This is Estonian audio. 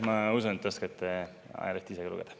Ma usun, et te oskate ajalehti ise ka lugeda.